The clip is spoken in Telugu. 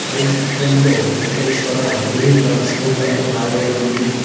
అ ఈ చిత్రంలో వెంకటేశ్వర మినీ ట్రాన్స్పోర్ట్ అని రాయబడి ఉంది.